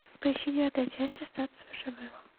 поищи девятая часть остаться в живых